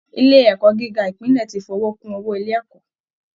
Ilé ẹ̀kọ́ gíga Ìpínlẹ̀ ti fowó kún owó ilé ẹ̀kọ́